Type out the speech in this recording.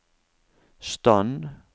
stand